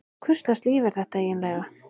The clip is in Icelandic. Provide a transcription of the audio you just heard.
Hvurslags líf er þetta eiginlega?